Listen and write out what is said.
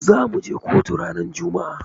Zamu je kotu ranar juma'a.